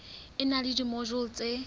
e na le dimojule tse